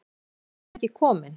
Af hverju var hann ekki kominn?